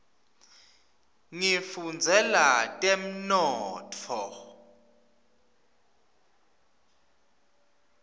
ngifundzela temnotfo